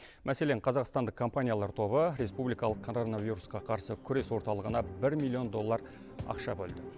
мәселен қазақстандық компаниялар тобы республикалық коронавирусқа қарсы күрес орталығына бір миллион доллар ақша бөлді